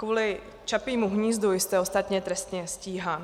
Kvůli Čapímu hnízdu jste ostatně trestně stíhán.